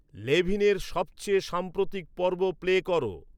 লেভিনের সবচেয়ে সাম্প্রতিক পর্ব প্লে করো